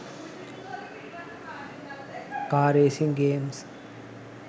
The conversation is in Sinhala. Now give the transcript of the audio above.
car racing games